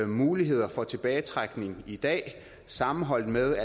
muligheder for tilbagetrækning i dag sammenholdt med